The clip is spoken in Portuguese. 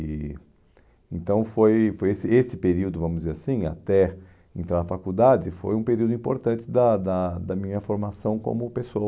E então foi foi esse esse período, vamos dizer assim, até entrar na faculdade, foi um período importante da da da minha formação como